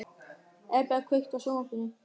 Eberg, kveiktu á sjónvarpinu.